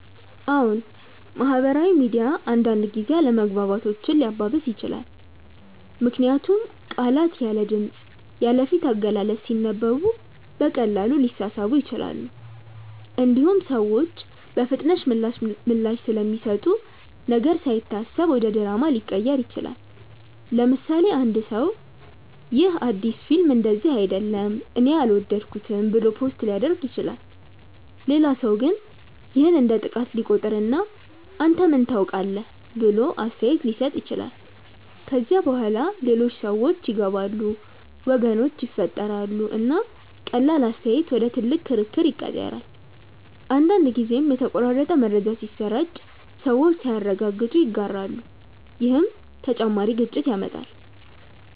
አዎን፣ ማህበራዊ ሚዲያ አንዳንድ ጊዜ አለመግባባቶችን ሊያባብስ ይችላል። ምክንያቱም ቃላት ያለ ድምፅ፣ ያለ ፊት አገላለጽ ሲነበቡ በቀላሉ ሊሳሳቡ ይችላሉ። እንዲሁም ሰዎች በፍጥነት ምላሽ ስለሚሰጡ ነገር ሳይታሰብ ወደ ድራማ ሊቀየር ይችላል። ለምሳሌ፣ አንድ ሰው “ይህ አዲስ ፊልም እንደዚህ አይደለም እኔ አልወደድኩትም” ብሎ ፖስት ሊያደርግ ይችላል። ሌላ ሰው ግን ይህን እንደ ጥቃት ሊቆጥር እና “አንተ ምን ታውቃለህ?” ብሎ አስተያየት ሊሰጥ ይችላል። ከዚያ በኋላ ሌሎች ሰዎች ይገባሉ፣ ወገኖች ይፈጠራሉ፣ እና ቀላል አስተያየት ወደ ትልቅ ክርክር ይቀየራል። አንዳንድ ጊዜም የተቆራረጠ መረጃ ሲሰራጭ ሰዎች ሳያረጋግጡ ይጋራሉ፣ ይህም ተጨማሪ ግጭት ያመጣል።